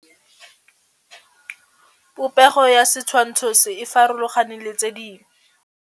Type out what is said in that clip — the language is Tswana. Popêgo ya setshwantshô se, e farologane le tse dingwe.